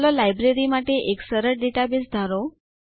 ચાલો લાઈબ્રેરી માટે એક સરળ ડેટાબેઝ ધારો